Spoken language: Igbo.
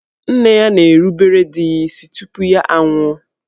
Nne ya na-erubere di ya isi tupu ya a nwụọ.